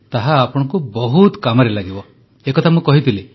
ତାହା ଆପଣଙ୍କ ବହୁତ କାମରେ ଲାଗିବ ଏ କଥା ମୁଁ କହିଥିଲି